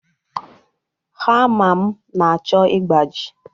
Hama m na-achọ ịgbaji.